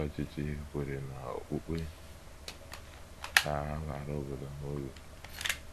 Ndị ọchịchị obodo kweere na okpukpe ga - abara obodo ha uru.